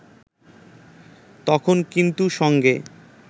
তখন কিন্তু সঙ্গে